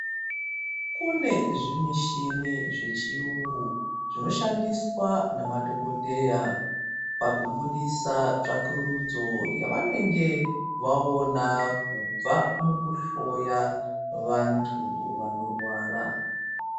Kunezvimichini zvechiyungu zvinoshandiswa ngemadhokodheya, pakubudisa tsvakurudzo yavanenge vaona kubva mukuhloya vantu vanorwara.